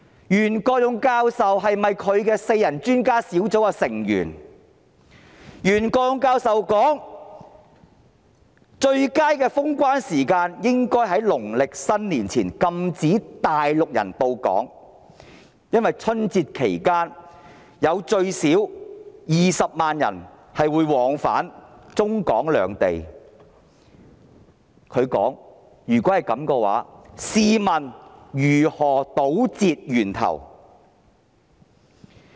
袁國勇教授說在農曆新年前封關，禁止內地人來港，應該是最佳的時間，因為春節期間最少有20萬人往返中港兩地，他說如果不及時封關，試問如何堵截源頭？